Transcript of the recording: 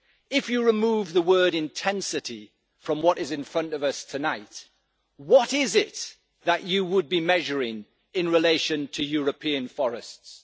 If you remove the word intensity' from what is in front of us tonight, what is it that you would be measuring in relation to European forests?